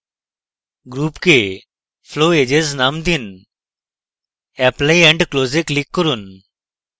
গ্রুপকে flow edges name দিন apply and close এ click করুন